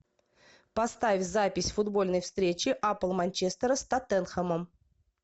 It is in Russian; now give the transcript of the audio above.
поставь запись футбольной встречи апл манчестера с тоттенхэмом